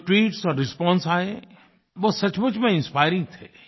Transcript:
जो ट्वीट्स और रिस्पांस आये वे सचमुच में इंस्पायरिंग थे